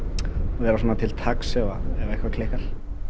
vera svona til taks ef eitthvað klikkar